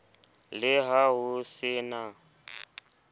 le ha ho se na